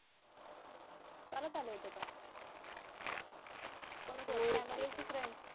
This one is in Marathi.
चालत आले होते का चालत आलो तर फ्रेंड्स आणि फॅमिली